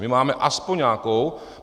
My máme aspoň nějakou.